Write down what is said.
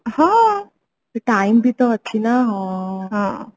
ହଁ time ବି ତ ଅଛି ନା